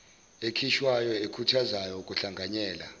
ekhishwayo ekhuthaza ukuhlanganyela